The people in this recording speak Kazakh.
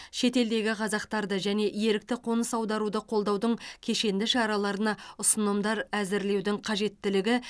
шетелдегі қазақтарды және ерікті қоныс аударуды қолдаудың кешенді шараларына ұсынымдар әзірлеудің қажеттілігі